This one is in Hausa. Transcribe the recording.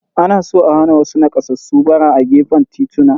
Ana so a hana wasu nakasassu ɓara a gefen tituna.